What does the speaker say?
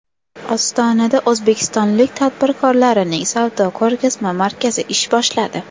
Ostonada O‘zbekiston tadbirkorlarining savdo-ko‘rgazma markazi ish boshladi.